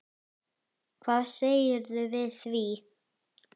Hvað segirðu við því?